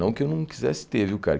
Não que eu não quisesse ter, viu cara?